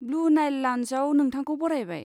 Blue Nile लाउन्जआव नोंथांखौ बरायबाय।